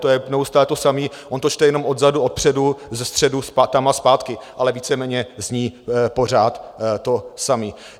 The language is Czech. To je neustále to samé, on to čte jenom odzadu, odpředu, ze středu, tam a zpátky, ale víceméně zní pořád to samé.